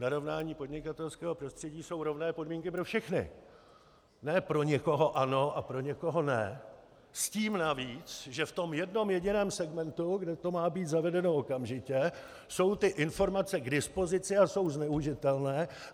Narovnání podnikatelského prostředí jsou rovné podmínky pro všechny, ne pro někoho ano a pro někoho ne, s tím navíc, že v tom jednom jediném segmentu, kde to má být zavedeno okamžitě, jsou ty informace k dispozici a jsou zneužitelné.